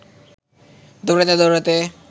দৌড়াতে দৌড়াতে